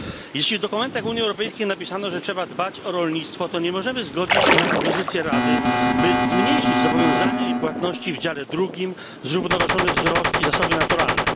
Jeśli w dokumentach Unii Europejskiej napisano, że trzeba dbać o rolnictwo, to nie możemy zgodzić się na propozycję Rady, by zmniejszyć zobowiązania i płatności w dziale drugim Zrównoważony wzrost i zasoby naturalne.